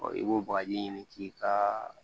i b'o bagaji ɲini k'i ka